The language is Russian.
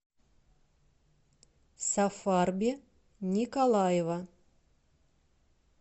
сафарби николаева